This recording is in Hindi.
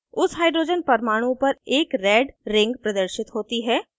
उस hydrogen परमाणु पर एक red ring प्रदर्शित होती है